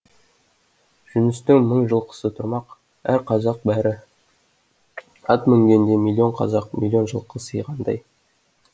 жүністің мың жылқысы тұрмақ әр қазақ бәрі ат мінгенде миллион қазақ миллион жылқы сыйғандай